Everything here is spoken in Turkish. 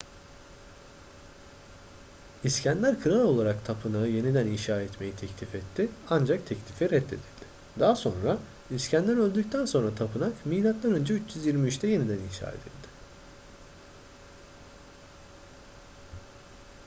i̇skender kral olarak tapınağı yeniden inşa etmeyi teklif etti ancak teklifi reddedildi. daha sonra i̇skender öldükten sonra tapınak m.ö. 323'te yeniden inşa edildi